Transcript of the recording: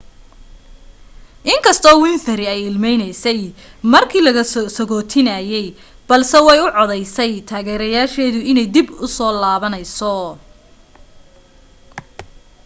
inkastoo winfrey ay ilmeynaysay markii la sagootinayay balse way u caddaysay taageerayaasheeda inay dib u soo laabanayso